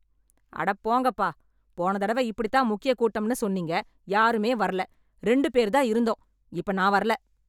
அடப் போங்கப்பா, போன தடவ இப்படித் தான் முக்கிய கூட்டம்னு சொன்னீங்க, யாருமே வர்ல, ரெண்டு பேர் தான் இருந்தோம். இப்ப நான் வர்ல.